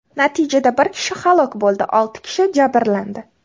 Natijada bir kishi halok bo‘ldi, olti kishi jabrlandi.